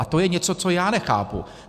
A to je něco, co já nechápu.